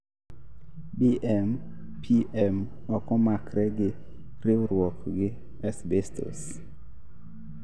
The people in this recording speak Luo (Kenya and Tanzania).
BMPM ok omakre gi riwruook gi asbestos